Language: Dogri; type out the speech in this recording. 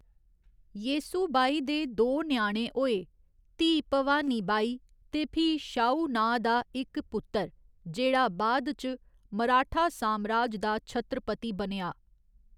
येसुबाई दे दो ञ्याणे होए, धीऽ भवानी बाई ते फ्ही शाहू नांऽ दा इक पुत्तर, जेह्‌‌ड़ा बाद च मराठा सामराज दा छत्रपति बनेआ।